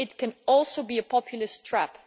can also be a populist trap.